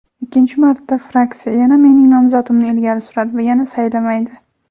Ikkinchi marta fraksiya yana mening nomzodimni ilgari suradi va yana saylamaydi.